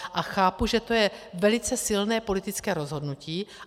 A chápu, že to je velice silné politické rozhodnutí.